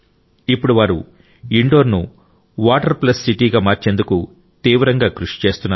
ఇప్పుడు వారు ఇండోర్ ను వాటర్ ప్లస్ సిటీగా మార్చేందుకు తీవ్రంగా కృషి చేస్తున్నారు